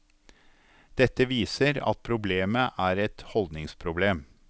Dette viser at problemet er et holdningsproblem.